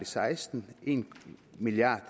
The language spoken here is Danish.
seksten en milliard